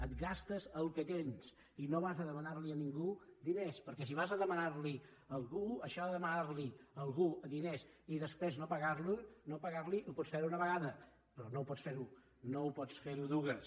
et gastes el que tens i no vas a demanar li a ningú diners perquè si vas a demanar ne a algú això de demanar li a algú diners i després no pagar los hi ho pots fer una vegada però no ho pots fer ne dues